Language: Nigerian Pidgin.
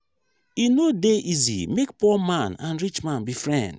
e no dey easy make poor man and rich man be friends.